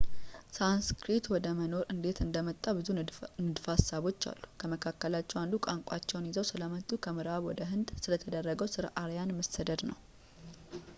ሳንስክሪት ወደ መኖር እንዴት እንደመጣ ብዙ ንድፈ ሀሳቦች አሉ ከመካከላቸው አንዱ ቋንቋቸውን ይዘው ስለመጡት ከምዕራብ ወደ ሕንድ ስለተደረገው ስለ አርያን መሰደድ ነው